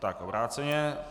Tak obráceně.